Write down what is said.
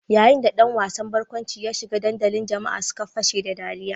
Yayin da ɗan wasan barkwanci ya shiga dandalin jama'a suka fashe da ɗariya.